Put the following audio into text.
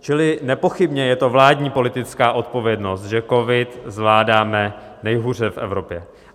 Čili nepochybně je to vládní politická odpovědnost, že covid zvládáme nejhůře v Evropě.